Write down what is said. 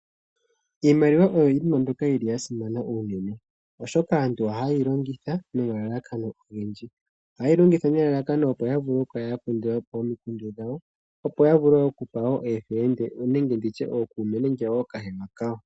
Iimaliwa oyo iinima mbyoka yili ya simana unene, oshoka aantu ohaye yi longitha nomalalakano ogendji. Ohaye yi longitha nelalakano opo ya kale ya kandula po omikundu dhawo opo ya vule oku pa wo ookahewa kawo.